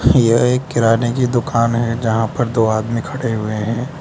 यह एक किराने की दुकान है जहां पर दो आदमी खड़े हुए हैं।